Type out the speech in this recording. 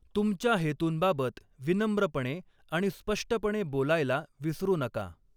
तुमच्या हेतूंबाबत विनम्रपणे आणि स्पष्टपणे बोलायला विसरू नका.